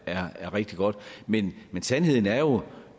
er rigtig godt men sandheden er jo